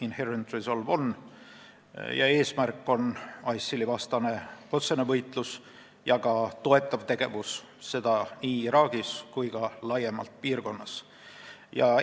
Inherent Resolve'i eesmärk on tegeleda ISIL-i vastase otsese võitluse ja ka toetava tegevusega nii Iraagis kui ka piirkonnas laiemalt.